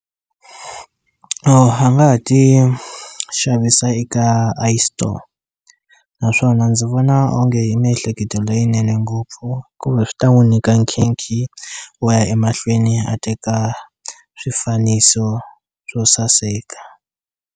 A nga ha ti xavisa eka iStore naswona ndzi vona onge i miehleketo leyinene ngopfu kumbe swi ta n'wu nyika nkhinkhi wo ya emahlweni a teka swifaniso swo saseka.